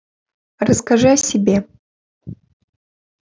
расскажи о себе